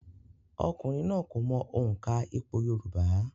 Ọkùnrin náà kò mọ òǹkà ìpò yorùbá